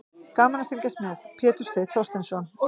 Gaman að fylgjast með: Pétur Steinn Þorsteinsson.